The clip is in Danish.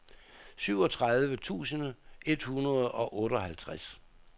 syvogtredive tusind et hundrede og otteoghalvtreds